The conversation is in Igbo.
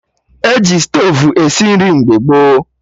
E ji stovu esi nri mgbe gboo